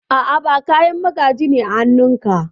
A'a, ba Kayan magaji ne a hanun ka?